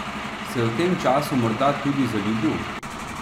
Se je v tem času morda tudi zaljubil?